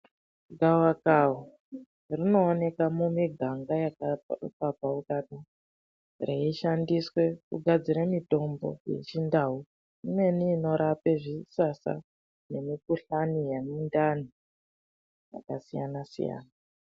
Gavakava rinooneka mumiganga yakapambaukana reishandiswe kugadzire mitombo yechindau. Imweni inorape zvisasa nemikuhlani yemundani yakasiyana-siyana.